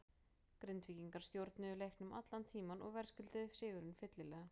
Grindvíkingar stjórnuðu leiknum allan tímann og verðskulduðu sigurinn fyllilega.